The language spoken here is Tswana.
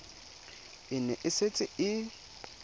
e ne e setse e